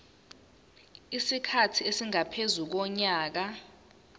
isikhathi esingaphezu konyaka